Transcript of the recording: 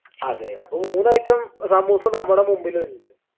അതെ അപ്പൊ മൂന്ന് item സമൂസ നമ്മുടെ മുമ്പിലിണ്ട്